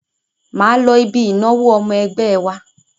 Máa lọ ibi ìnáwó ọmọ ẹgbẹ́ wa.